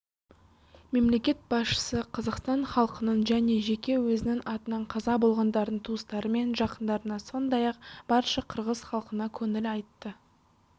мемлекет басшысы қазақстан халқының және жеке өзінің атынан қаза болғандардың туыстары мен жақындарына сондай-ақ барша қырғыз халқына көңіл айтты